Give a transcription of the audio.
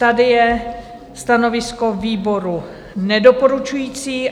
Tady je stanovisko výboru nedoporučující.